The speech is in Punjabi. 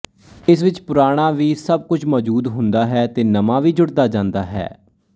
ਇਸ ਵਿੱਚ ਪੁਰਾਣਾ ਵੀ ਸਭ ਕੁਝ ਮੋਜੂਦ ਹੁੰਦਾ ਹੈ ਤੇ ਨਵਾਂ ਵੀ ਜੁੜਦਾ ਜਾਂਦਾ ਹੈ